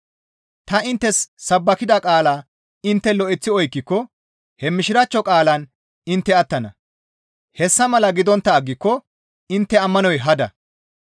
Ta inttes sabbakida qaalaa intte lo7eththi oykkiko he Mishiraachcho qaalaan intte attana; hessa mala gidontta aggiko intte ammanoy hada.